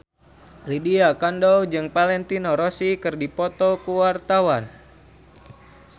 Lydia Kandou jeung Valentino Rossi keur dipoto ku wartawan